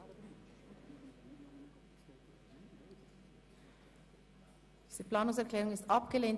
Diese Planungserklärung wurde abgelehnt.